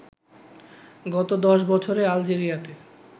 গত দশ বছরে আলজেরিয়াতে